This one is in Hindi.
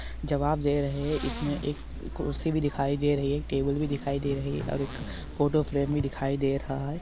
जावेब दे रहे है एक कुर्सी भी दिखाई दे रही हे टेबल बी दिखाई दे रहा है आवर एक फोटो फ्रेम बी दिखाई दे रहा हे|